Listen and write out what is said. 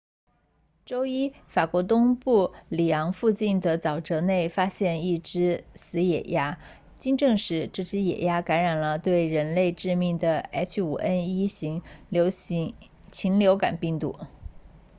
周一法国东部里昂附近的沼泽内发现了一只死野鸭经证实这只野鸭感染了对人类致命的 h5n1 型禽流感病毒